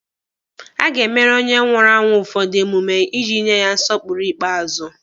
A ga-emere onye nwụrụ anwụ ụfọdụ emume iji nye ya nsọpụrụ ikpeazụ.